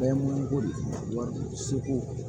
Bɛɛ ye mun ko de wari seko